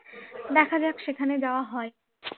দেখা যাক সেখানে যাওয়া হয় কি